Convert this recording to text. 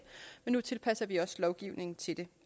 men nu tilpasser vi også lovgivningen til det